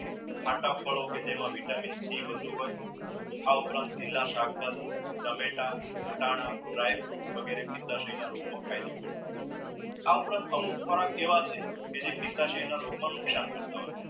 ખાટા ફળો કે જેમાં vitamin c બધું જ હોય આ ઉપરાંત લીલા શાકભાજી, ટામેટા, વટાણા, dry fruits વગેરે ફાયદો થશે ફાયદો કરતાં હસે આ ઉપરાંત અમુક ખોરાક કેવા છે તે જે નુકશાન કરતા હોય છે.